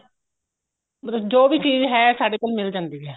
ਮਤਲਬ ਜੋ ਵੀ ਚੀਜ਼ ਹੈ ਸਾਡੇ ਕੋਲ ਮਿਲ ਜਾਂਦੀ ਏ